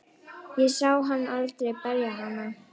Ég sá hann aldrei berja hana.